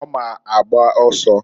Ọ ma agba ọsọ.